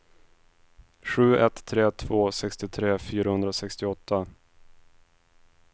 sju ett tre två sextiotre fyrahundrasextioåtta